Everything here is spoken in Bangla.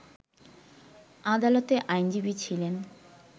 আদালতে আইনজীবী ছিলেন